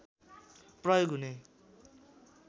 प्रयोग हुने